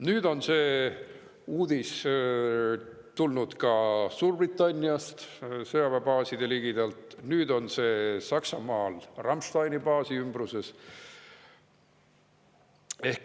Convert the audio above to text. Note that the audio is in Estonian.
Nüüd on samasugune uudis tulnud ka Suurbritanniast sõjaväebaaside ligidalt, samuti Saksamaalt Ramsteini baasi ümbrusest.